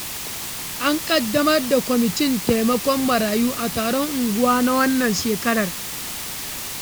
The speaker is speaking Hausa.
An ƙaddamar da kwamitin taimakon marayu a taron unguwa na wannan shekarar.